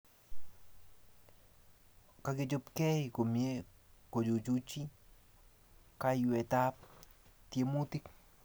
Kechopkei komie kochuchuchi kayweetap tiemutik